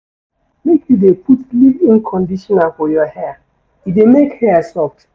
Make you dey put leave-in conditioner for your hair, e dey make hair soft.